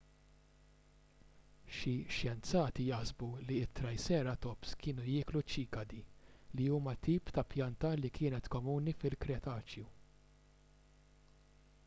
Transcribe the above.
xi xjenzati jaħsbu li t-triceratops kienu jieklu ċikadi li huma tip ta' pjanta li kienet komuni fil-kretaċju